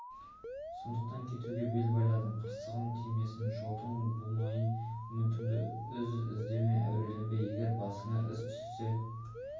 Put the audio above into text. сондықтан кетуге бел байладым қырсығым тимесін жолыңды бумайын үмітіңді үз іздеме әуреленбе егер басыңа іс түссе